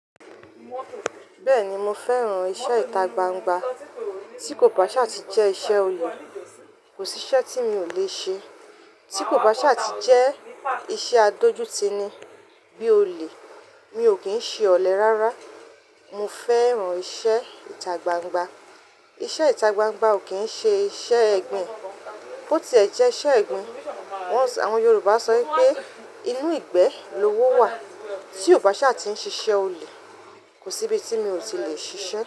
Bẹ́ẹ̀ni mo fẹ́ran iṣẹ́ ìta gbangba tí kò bá ṣe àti jẹ́ iṣẹ́ olè, kò sí iṣẹ́ tí mi ò lè ṣe tí kò bá ṣe àti jẹ́ iṣẹ́ adójútì ni bí olè. Mi ò kín ṣe ọ̀lẹ́ rárá. Mo fẹ́ran iṣẹ́ ìta gbangba. Iṣẹ́ ìta gbangba ò kín ṣe iṣẹ́ ẹgbìn. Kó tí ẹ jẹ́ iṣẹ́ ẹgbìn. Won, àwọn Yorùbá sọ pé inú ìgbẹ́ lówó wà tí kò bá ṣe àti ń ṣe iṣẹ́ olè. Kò sí ibi tí mi ò tí lè ṣíṣe.